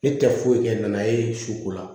Ne tɛ foyi kɛ nana ye so ko la